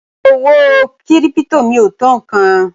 Owó kírípítò mi ò tó nǹkan.